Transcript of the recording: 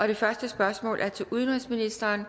det første spørgsmål er til udenrigsministeren